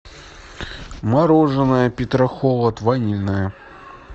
мороженое петрохолод ванильное